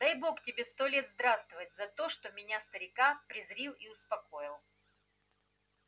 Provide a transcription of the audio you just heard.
дай бог тебе сто лет здравствовать за то что меня старика призрил и успокоил